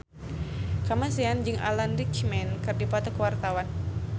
Kamasean jeung Alan Rickman keur dipoto ku wartawan